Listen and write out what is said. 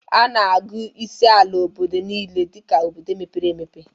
A na-agụ isii ala obodo niile dika obodo mepere emepe